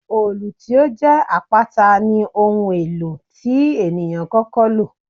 Òòlù tó jẹ́ àpáta ní ohun èlò tí ènìyàn kọ́kọ́ lò.